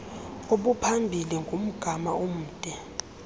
obuphambili ngumgama omde